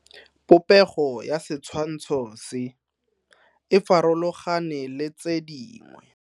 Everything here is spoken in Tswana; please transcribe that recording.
Popego ya setshwantsho se, e farologane le tse dingwe.